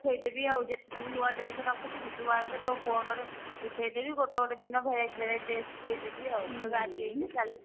ଉଠେଇଦେବି ଆଉ ଯେତେ ସବୁ ନୂଆ dress ରଖିଥିବି ତୁ ଆଇଲେ ତୋ phone ରେ ଉଠେଇଦେବି ଗୋଟେ ଗୋଟେ ଦିନ verity verity dress ଦେଇଦେବି ଆଉ ଆଜି ଏଇଟା କାଲି ସେଇଟା